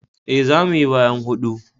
E, za mu yi bayan hudu.